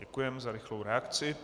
Děkujeme za rychlou reakci.